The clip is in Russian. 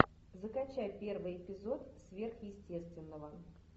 закачай первый эпизод сверхъестественного